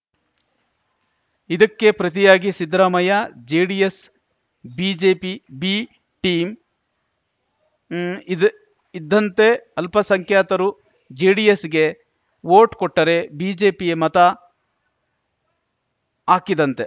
ಇದಕ್ಕೆ ಪ್ರತಿಯಾಗಿ Siddaramaiah JDS BJP B team ಇದ್ ಇದ್ದಂತೆ ಅಲ್ಪಸಂಖ್ಯಾತರು ಜೆಡಿಎಸ್‌ಗೆ ವೋಟ್ ಕೊಟ್ಟರೆ ಬಿಜೆಪಿಗೆ ಮತ ಹಾಕಿದಂತೆ